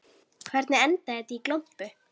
Hvernig endaði þetta í glompu?